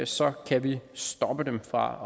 så kan vi stoppe dem fra